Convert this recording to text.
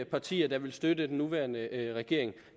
partier der vil støtte den nuværende regering